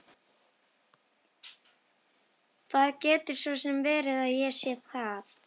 Það getur svo sem verið að ég sé það.